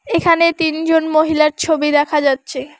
এখানে তিনজন মহিলার ছবি দেখা যাচ্ছে।